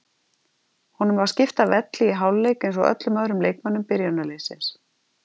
Honum var skipt af velli í hálfleik eins og öllum öðrum leikmönnum byrjunarliðsins.